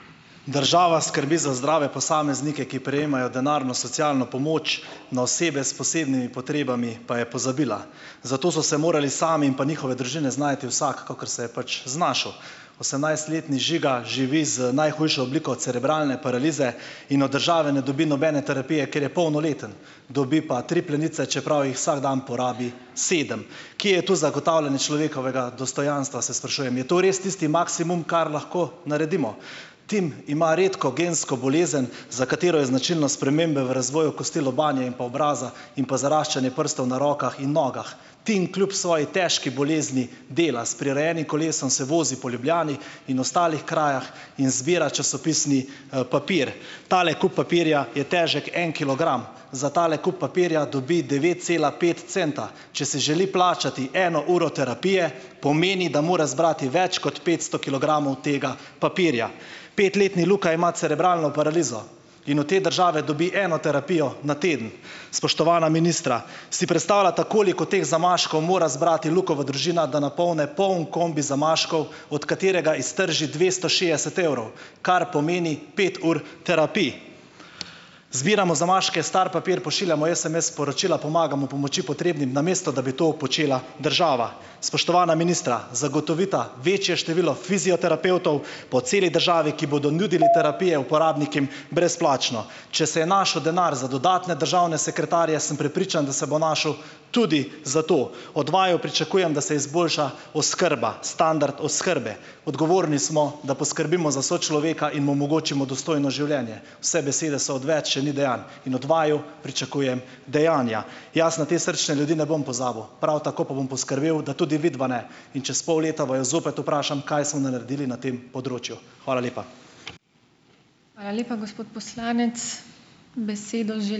Država skrbi za zdrave posameznike, ki prejemajo denarno socialno pomoč, na osebe s posebnimi potrebami pa je pozabila. Zato so se morali sami in pa njihove družine znajti vsak, kakor se je pač znašel. Osemnajstletni Žiga živi z najhujšo obliko cerebralne paralize in od države ne dobi nobene terapije, ker je polnoleten, dobi pa tri plenice, čeprav jih vsak dan porabi sedem. Kje je tu zagotavljanje človekovega dostojanstva, se sprašujem. Je to res tisti maksimum, kar lahko naredimo? Tim ima redko gensko bolezen, za katero so značilne spremembe v razvoju kosti lobanje in pa obraza in pa zaraščanje prstov na rokah in nogah. Tim kljub svoji težki bolezni dela, s prirejenim kolesom se vozi po Ljubljani in ostalih krajah in zbira časopisni, papir. Tale kup papirja je težek en kilogram. Za tale kup papirja dobi devet cela pet centa. Če si želi plačati eno uro terapije, pomeni, da mora zbrati več kot petsto kilogramov tega papirja. Petletni Luka ima cerebralno paralizo in od te države dobi eno terapijo na teden. Spoštovana ministra, si predstavljata, koliko teh zamaškov mora zbrati Lukova družina, da napolni poln kombi zamaškov, od katerega iztrži dvesto šest evrov, kar pomeni pet ur terapij? Zbiramo zamaške, star papir, pošiljamo SMS-sporočila, pomagamo pomoči potrebnim, namesto da bi to počela država. Spoštovana ministra, zagotovita večje število fizioterapevtov po celi državi, ki bodo nudili terapije uporabnikom brezplačno. Če se je našel denar za dodatne državne sekretarje, sem prepričan, da se bo našel tudi za to. Od vaju pričakujem, da se izboljša oskrba, standard oskrbe. Odgovorni smo, da poskrbimo za sočloveka in mu omogočimo dostojno življenje. Vse besede so odveč, če ni dejanj. In od vaju pričakujem dejanja. Jaz na te srčne ljudi ne bom pozabil. Prav tako pa bom poskrbel, da tudi vidva ne. In čez pol leta vaju zopet vprašam, kaj sem naredil na tem področju. Hvala lepa.